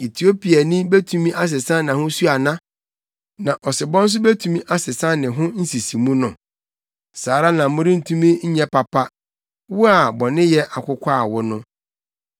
Etiopiani betumi asesa nʼahosu ana? Na ɔsebɔ nso betumi asesa ne ho nsisimu no? Saa ara na worentumi nyɛ papa, wo a bɔneyɛ akokwaw wo no.